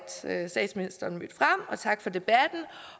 at statsministeren mødte frem og tak for debatten